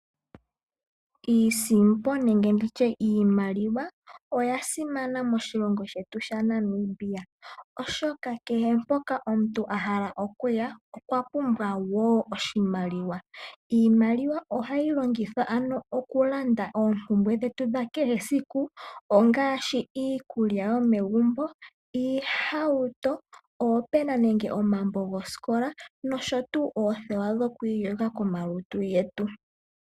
Iisimpo nenge ndi tye iimaliwa oya simana moshilongo she shaNamibia oshoka kehe poka omuntu a hala okuya okwa pumbwa oshimaliwa. Iimaliwa ohayi longithwa ano oku landa oompumbwe dhetu dha kehe esiku ngaashi: iikulya yomegumbo, oohauto, oopena nenge omambo gosikola noshoo woo oothewa dhokwiiyogitha komalutu getu.